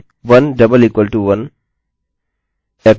मेरी शर्त है यदि 1==1